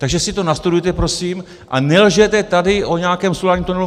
Takže si to nastudujte prosím a nelžete tady o nějakém solárním tunelu.